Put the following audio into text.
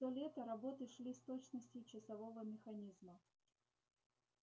все лето работы шли с точностью часового механизма